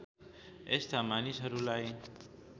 यस्ता मानिसहरूलाई